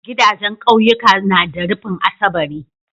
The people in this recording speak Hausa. Gidajan ƙauyuka na da rufin asabari